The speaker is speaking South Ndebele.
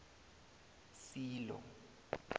silo